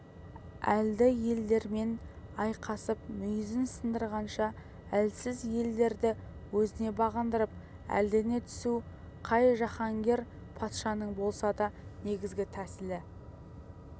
әлді елдермен айқасып мүйізін сындырғанша әлсіз елдерді өзіне бағындырып әлдене түсу қай жаһанкер патшаның болса да негізгі тәсілі